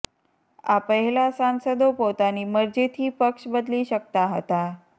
આ પહેલાં સાંસદો પોતાની મરજીથી પક્ષ બદલી શકતા હતા